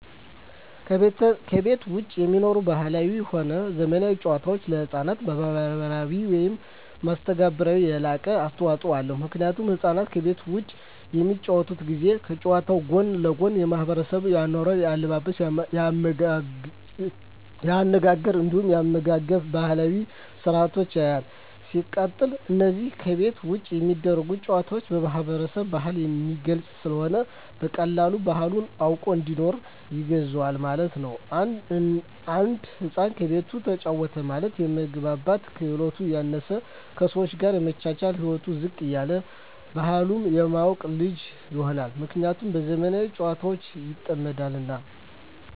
ከቤት ዉጪ የሚኖሩ ባህላዊም ሆነ ዘመናዊ ጨዋታወች ለሕፃናት ማህበራዊ ህይወት መስተጋብር የላቀ አስተዋጾ አለዉ ምክንያቱም ህፃናት ከቤት ዉጪ በሚጫወቱበት ጊዜ ከጨዋታዉ ጎን ለጎን የማሕበረሰቡን የአኗኗር፣ የአለባበስ፤ የአነጋገር እንዲሁም የአመጋገብ ባህላዊ ስርአቶችን ያያል። ሲቀጥል አነዛ ከቤት ዉጪ የሚደረጉ ጨዋታወች የማህበረሰብን ባህል የሚገልጽ ስለሆነ በቀላሉ ባህሉን አዉቆ እንዲያድግ ያግዘዋል ማለት ነዉ። አንድ ህፃን ከቤቱ ተጫወተ ማለት የመግባባት ክህሎቱ ያነሰ፣ ከሰወች ጋር የመቻቻል ህይወቱ ዝቅ ያለ እና ባህሉን የማያቅ ልጅ ይሆናል። ምክንያቱም በዘመናዊ ጨዋታወች ይጠመዳልና።